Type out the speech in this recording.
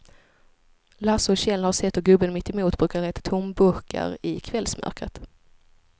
Lasse och Kjell har sett hur gubben mittemot brukar leta tomburkar i kvällsmörkret.